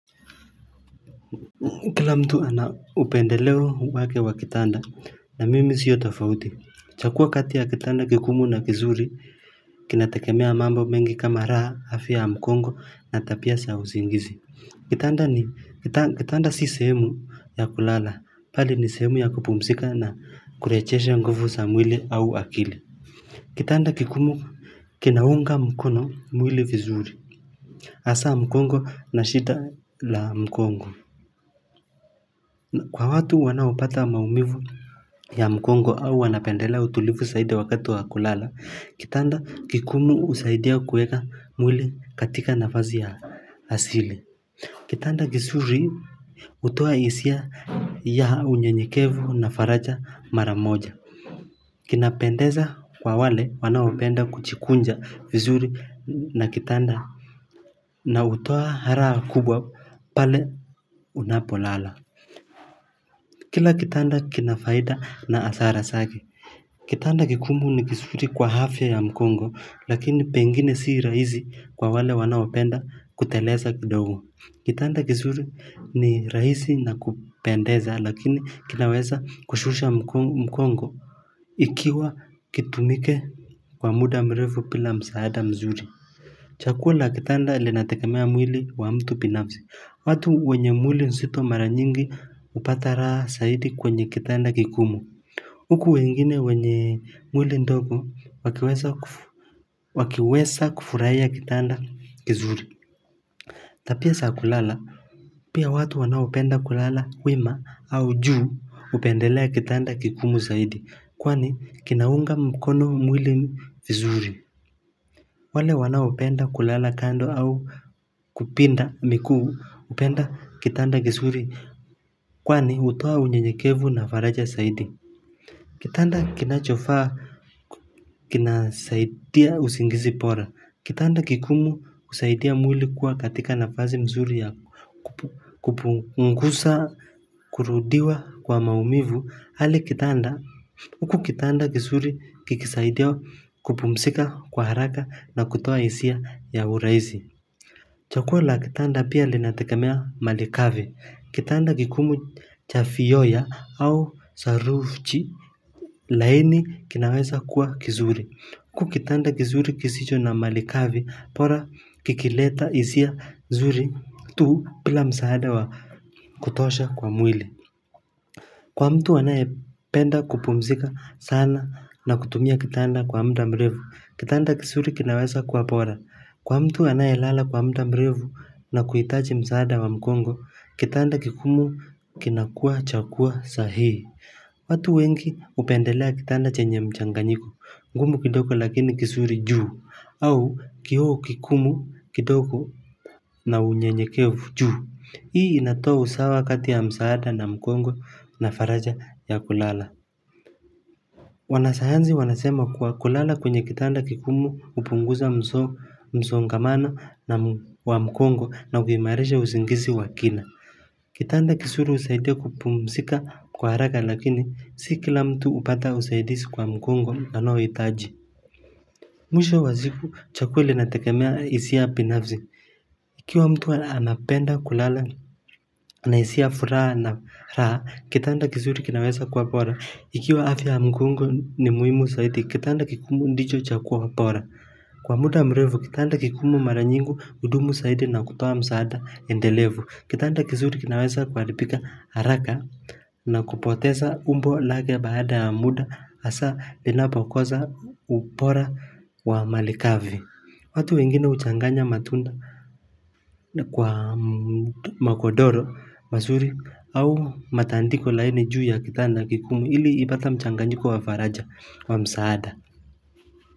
Kila mtu ana upendeleo wake wa kitanda na mimi sio tafauti Chakua katika kitanda kingumu na kizuri kinategemea mambo mengi kama raha afya mgongo natapia sa uzingizi. Kitanda ni kitanda si sehemu ya kulala pali ni sehemu ya kupumsika na kurejesha nguvu sa mwili au akili Kitanda kikumu kinaunga mkono mwili vizuri hasa mkongo na shita la mkongo Kwa watu wanaopata maumivu ya mgongo au wanapendela utulivu saidi wakati wa kulala, kitanda kikumu husaidia kueka mwili katika nafazi ya asili. Kitanda gizuri hutoa hisia ya unyenyekevu na faraja mara moja. Kinapendeza kwa wale wanaopenda kuchikunja vizuri na kitanda. Na hutoa haraha kubwa pale unapolala. Kila kitanda kinafaida na asara sake. Kitanda kigumu ni kisuri kwa hafya ya mkongo lakini pengine si rahizi kwa wale wanaopenda kuteleza kidogo. Kitanda kisuri ni raisi na kupendeza lakini kinaweza kushusha mkongo. Ikiwa kitumike kwa muda mrevu pila msaada mzuri. Chakula kitanda lilinatekemea mwili wa mtu binafsi. Watu wenye mwili nsito mara nyingi hupata raha saidi kwenye kitanda kigumu Huku wengine wenye mwili ndogo wakiwesa kufurahiya kitanda kizuri. Tapia sa kulala Pia watu wanaopenda kulala wima au juu upendelea kitanda kigumu zaidi kwani kinaunga mkono mwili vizuri wale wana upenda kulala kando au kupinda mikuu upenda kitanda gisuri kwani hutoa unye nyekevu na faraja saidi Kitanda kinachofaa kinasaidia usingizi pora Kitanda kikumu husaidia mwili kuwa katika nafazi mzuri ya kupungusa kurudiwa kwa maumivu Hali kitanda, uku kitanda kizuri kikisaidia kupumzika kwa haraka na kutoa hisia ya urahizi chaguo la kitanda pia linategemea malikavi Kitanda kigumu chafiyoya au saruvchi laini kinaweza kuwa kizuri Kukitanda kizuri kisijo na malikavi Pora kikileta isia zuri tu pila msaada wa kutosha kwa mwili. Kwa mtu anaye penda kupumzika sana na kutumia kitanda kwa mda mrevu, kitanda kisuri kinaweza kua pora. Kwa mtu anaye lala kwa mda mrevu na kuhitaji msaada wa mgongo, kitanda kigumu kinakua chakua sahii. Watu wengi hupendelea kitanda chenye mchanganyiko, ngumu kidogo lakini kisuri juu, au kio kikumu kidogo na unyenyekevu juu. Hii inatoa usawa kati ya msaada na mkongo na faraja ya kulala wana sayanzi wanasema kwa kulala kwenye kitanda kigumu hupunguza mso msongamano wa mkongo na hukimairisha usingizi wa kina Kitanda kisuri husaidia kupumsika kwa haraka lakini si kila mtu upata usaidisi kwa mkongo anao hitaji Mwisho wa ziku chaguo linategemea hisia binafzi Ikiwa mtu aapenda kulala na hisia furaha na kitanda kizuri kinaweza kuwa pora Ikiwa afya mgongo ni muhimu saidi Kitanda kikumu ndijo chakuo pora Kwa muda mrevu kitanda kikumu mara nyingi hudumu saidi na kutoa msaada endelevu Kitanda kizuri kinaweza kwa kuharibika haraka na kupoteza umbo lake baada ya muda hasa inapo koza upora wa malikavi watu wengine guchanganya matunda kwa makodoro Masuri au matandiko laini juu ya kitanda kikumu ili ibata mchanganjiko wa faraja wa msaada.